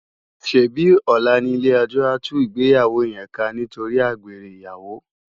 Sébi òlá ni ilé èjò á tú igbéyàwó yén ká nitóri ágbéré iyàwó?